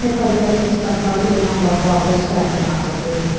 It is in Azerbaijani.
Amerika Birləşmiş Ştatları İranla bağlı şərtini açıqlayıb.